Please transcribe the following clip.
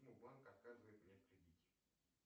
почему банк отказывает мне в кредите